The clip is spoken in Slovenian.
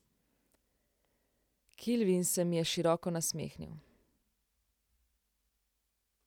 Kilvin se mi je široko nasmehnil.